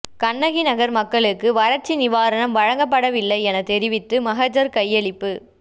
கண்ணகிநகர் மக்களுக்கு வறட்சி நிவாரணம் வழங்கப்படவில்லை எனத் தெரிவித்து மகஜர் கையளிப்பு